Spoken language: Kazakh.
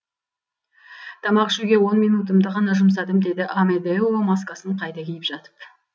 тамақ ішуге он минутымды ғана жұмсадым деді амедео маскасын қайта киіп жатып